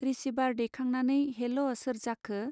Receiver दैखांनानै hello सोर जाखो.